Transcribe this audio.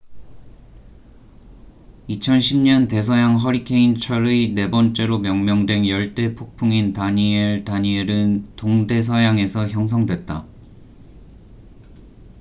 2010년 대서양 허리케인 철의 네 번째로 명명된 열대 폭풍인 다니엘danielle은 동대서양에서 형성됐다